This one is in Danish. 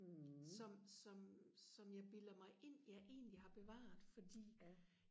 som som som jeg bilder mig ind jeg egentlig har bevaret fordi